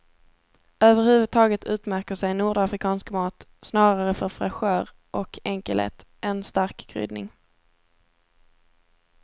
Över huvud taget utmärker sig nordafrikansk mat snarare för fräschör och enkelhet än stark kryddning.